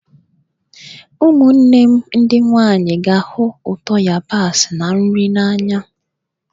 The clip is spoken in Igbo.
Ụmụnne m ndị nwanyị ga-ahụ ụtọ yabasị na nri n'anya.